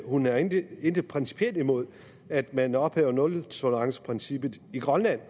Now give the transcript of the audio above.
hun har intet intet principielt imod at man ophæver nultoleranceprincippet i grønland